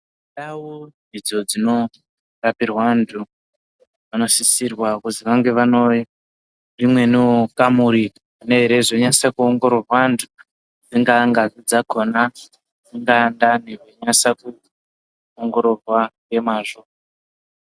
Ndau idzo dzinorapirwa antu anosisirwa kuti vange vane imweniwo kamuri inozonase kuongororwa antu dzingaa ngazi dzakhona dzingaa ndani vachinasa kuongororwa ngemwazvo.